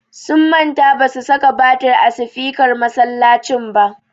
Sun manta ba su saka batir a sifikar masallacin ba.